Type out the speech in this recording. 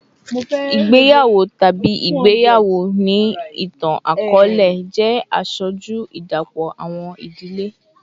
Igbeyawo tabi igbeyawo ni itan-akọọlẹ jẹ aṣoju idapọ awọn idile